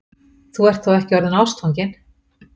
Þú ert þó ekki orðinn ástfanginn?